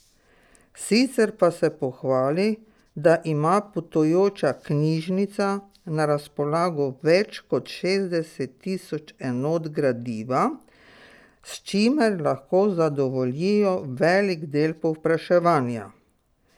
Sicer pa se pohvali, da ima potujoča knjižnica na razpolago več kot šestdeset tisoč enot gradiva, s čimer lahko zadovoljijo velik del povpraševanja.